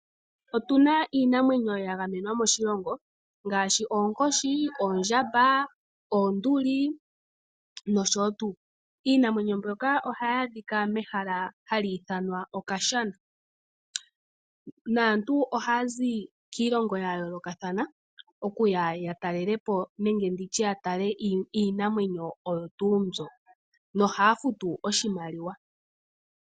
Otuna iinamwenyo yagamenwa moshilongo ngaashi oonkoshi, oonduli, oondjamba nosho tuu. Iinamwenyo mbyoka ohayi adhika mehala hali ithanwa okashana. Aantu ohaya zi kiilongo yayoolokathana okuya ya talele po ehala ndyoka no haya futu oshimaliwa.